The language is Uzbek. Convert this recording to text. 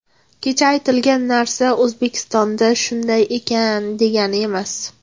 Kecha aytilgan narsa O‘zbekistonda shunday ekan, degani emas.